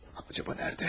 Acaba nədə?